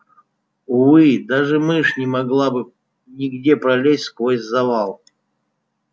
увы даже мышь не могла бы нигде пролезть сквозь завал